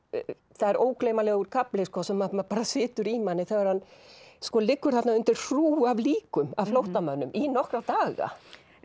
það er ógleymanlegur kafli sem bara situr í manni þegar hann liggur þarna undir hrúgu af líkum af flóttamönnum í nokkra daga